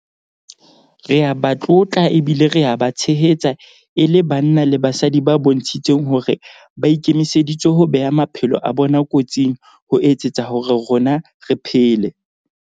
Re a ba tlotla ebile re a ba tshehetsa e le banna le basadi ba bontshitseng hore ba ikemiseditse ho bea maphelo a bona kotsing ho etsetsa hore rona re phele.